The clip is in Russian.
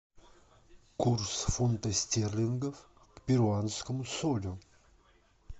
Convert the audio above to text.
курс фунта стерлингов к перуанскому солю